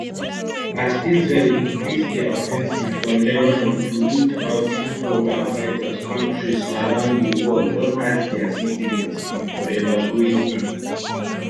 as israel increase dia offensive for lebanon to root out hezbollah fighters kontris around di world don ask dia citizens um to evacuate um